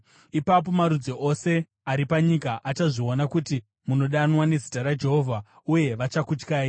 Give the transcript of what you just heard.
Ipapo marudzi ose ari panyika achazviona kuti munodanwa nezita raJehovha, uye vachakutyai.